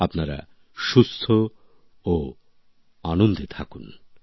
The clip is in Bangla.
আপনি সুস্থ ও আনন্দে থাকুন